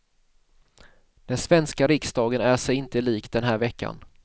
Den svenska riksdagen är sig inte lik den här veckan.